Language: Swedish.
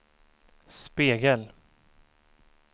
spegel